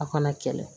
A kana kɛlɛ